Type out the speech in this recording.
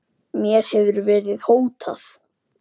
Mér hefur verið hótað